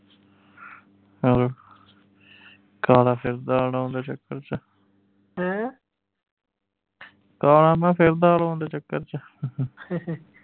hello ਕਾਲਾ ਫਿਰਦਾ ਨਾ ਓਹਦੇ ਚੱਕਰ ਚ ਕਾਲਾ ਨਾ ਫਿਰਦੇ ਦੇ ਚੱਕਰ ਚ